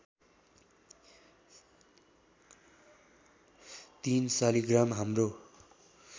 ३ शालिग्राम हाम्रो